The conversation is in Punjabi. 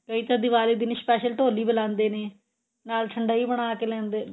ਕਈ ਤਾਂ ਦਿਵਾਲੀ ਦਿਨ special ਢੋਲੀ ਬਲਾਉਂਦੇ ਨੇ ਨਾਲ ਠੰਡਈ ਬਣਾਕੇ ਲੈਂਦੇ